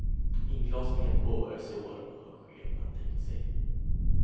Inglasningen påbörjas i år, har chefen tänkt sig.